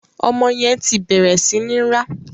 Ọmọ yẹn ti bẹ̀rẹ̀ sí ní rá.